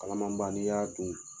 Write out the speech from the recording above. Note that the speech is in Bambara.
Kalaman ba ni y'a dun